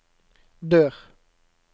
dør